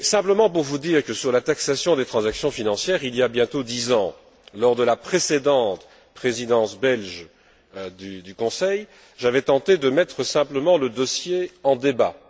En ce qui concerne la taxation des transactions financières, il y a bientôt dix ans, lors de la précédente Présidence belge du Conseil, j'avais tenté de mettre simplement le dossier en débat.